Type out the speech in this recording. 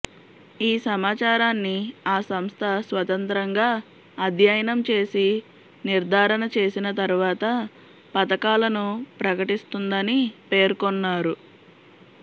ఈసమాచారాన్ని ఆ సంస్థ స్వతంత్రంగా అధ్యయనం చేసి నిర్దారణ చేసిన తర్వాత పతకాలను ప్రకటిస్తుందని పేర్కొన్నారు